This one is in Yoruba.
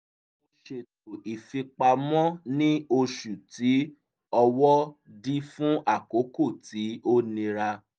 mo ṣètò ìfipamọ́ ní oṣù tí ọwọ́ dí fún àkókò tí ó nira